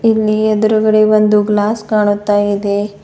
ಇಲ್ಲಿ ಎದುರುಗಡೆ ಒಂದು ಗ್ಲಾಸ್ ಕಾಣುತ್ತಾ ಇದೆ.